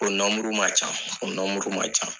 O man ca o man ca.